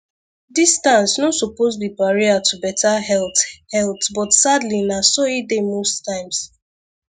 distance no suppose be barrier to better health health but sadly na so e dey most times